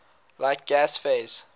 like gas phase